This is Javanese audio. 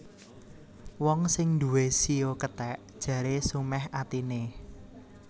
Wong sing nduwé shio kethèk jaré sumèh atiné